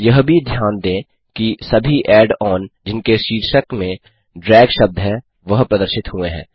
यह भी ध्यान दें कि सभी ऐड ऑन जिनके शीर्षक में ड्रैग शब्द है वह प्रदर्शित हुए हैं